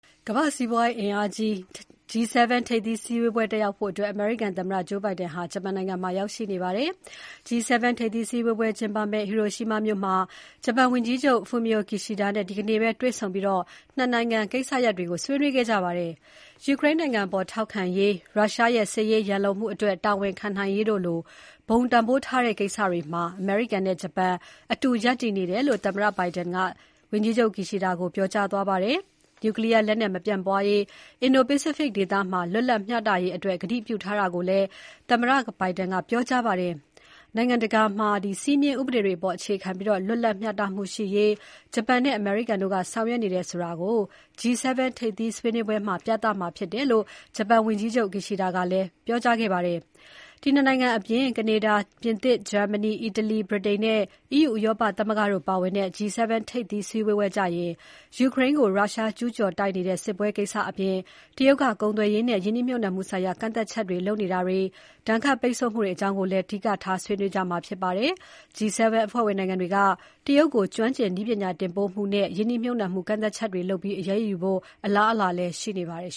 ကမ္ဘာ့စီးပွားရေးအင်အားကြီး ၇ နိုင်ငံရဲ့ G7 ထိပ်သီးစည်းဝေးပွဲတက်ရောက်ဖို့ အမေရိကန်သမ္မတ Joe Biden ဟာ ဂျပန်နိုင်ငံမှာ ရောက်ရှိနေပါတယ်။ G7 ထိပ်သီးစည်းဝေးပွဲကျင်းပမယ့် Hiroshima မြို့မှာ ဂျပန်ဝန်ကြီးချုပ် Fumio Kishida နဲ့ ဒီနေ့ တွေ့ဆုံပြီး ၂ နိုင်ငံကိစ္စရပ်တွေ ဆွေးနွေးခဲ့ကြပါတယ်။ ယူကရိန်းနိုင်ငံအပေါ် ထောက်ခံရေး၊ ရုရှားရဲ့ စစ်ရေးရန်လိုမှုအတွက် တာဝန်ခံနိုင်ရေးတို့လို ဘုံတန်ဖိုးထားတဲ့ ကိစ္စတွေမှာ အမေရိကန်နဲ့ ဂျပန် အတူရပ်တည်နေတယ်လို့ သမ္မတ Biden က ဝန်ကြီးချုပ် Kishida ကိုပြောကြားသွားပါတယ်။ Nuclear လက်နက် မပြန့်ပွားရေး၊ အင်ဒိုပိစိဖိတ်ဒေသ လွတ်လပ်မျှတရေးအတွက် ကတိပြုထားတာကိုလည်း သမ္မတ Biden ကပြောကြားပါတယ်။ နိုင်ငံတကာမှာ စည်းမျဉ်း ဥပဒေတွေအပေါ် အခြေခံပြီး လွတ်လပ် မျှတမှုရှိရေး ဂျပန်နဲ့ အမေရိကန်တို့က ဆောင်ရွက်နေတယ်ဆိုတာ G7 ထိပ်သီးဆွေးနွေးပွဲမှာ ပြသမှာဖြစ်တယ်လို့ ဂျပန်ဝန်ကြီးချုပ် Kishida ကပြောကြားခဲ့ပါတယ်။ ဒီ ၂ နိုင်ငံအပြင် ကနေဒါ၊ ပြင်သစ်၊ ဂျာမနီ၊ အီတလီ၊ ဗြိတိန်နဲ့ EU ဥရောပသမဂ္ဂတို့ပါဝင်တဲ့ G7 ထိပ်သီးဆွေးနွေးပွဲကျရင် ယူကရိန်းကို ရုရှားကျူးကျော်တိုက်နေတဲ့ စစ်ပွဲကိစ္စအပြင် တရုတ်က ကုန်သွယ်ရေးနဲ့ ရင်းနှီးမြှပ်နှံမှုဆိုင်ရာ ကန့်သတ်ချက်လုပ်နေတာတွေ၊ ဒဏ်ခတ် ပိတ်ဆို့မှုတွေအကြောင်းကိုလည်း အဓိကထား ဆွေးနွေးကြမှာဖြစ်ပါတယ်။ G7 အဖွဲ့ဝင်နိုင်ငံတွေက တရုတ်ကို ကျွမ်းကျင်နည်းပညာတင်ပို့မှုနဲ့ ရင်းနှီးမြှပ်နှံမှု ကန့်သတ်ချက်တွေလုပ်ပြီး အရေးယူဖို့ အလားအလာလည်း ရှိနေပါတယ်